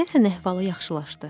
Deyəsən əhvalı yaxşılaşdı.